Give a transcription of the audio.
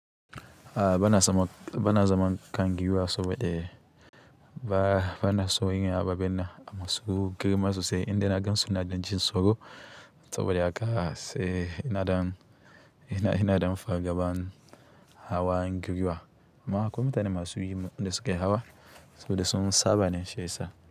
A'a bana zaman, bana zaman kangiwa saboda ba, bana so yin ababen nan masu girma sosai indai na gansu ina ɗan jin tsoro saboda haka sai ina ɗan, ina ina dan far gaban hawa giwa. Amma akwai mutane masu yin inda suke hawa saboda sun saba ne shi yasa.